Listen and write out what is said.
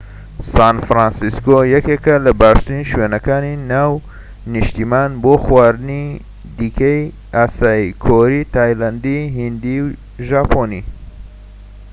سان فرانسیسکۆ یەکێکە لە باشترین شوێنەکانی ناو نیشتیمان بۆ خواردنی دیکەی ئاسیایی کۆری تایلەندی هیندی و ژاپۆنی